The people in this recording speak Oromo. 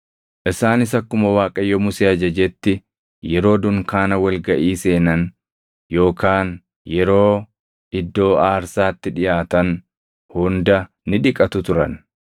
Isaanis akkuma Waaqayyo Musee ajajetti yeroo dunkaana wal gaʼii seenan yookaan yeroo iddoo aarsaatti dhiʼaatan hunda ni dhiqatu turan.